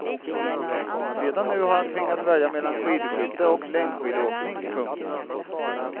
Redan nu har han tvingats välja mellan skidskytte och längdskidåkning. punkt